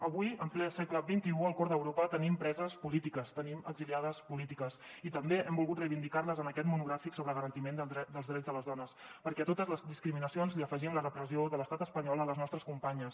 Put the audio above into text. avui en ple segle xxi al cor d’europa tenim preses polítiques tenim exiliades polítiques i també hem volgut reivindicar les en aquest monogràfic sobre garantiment dels drets de les dones perquè a totes les discriminacions hi afegim la repressió de l’estat espanyol a les nostres companyes